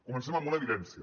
comencem amb una evidència